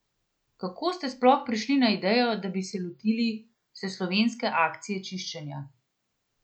Kako ste sploh prišli na idejo, da bi se lotili vseslovenske akcije čiščenja?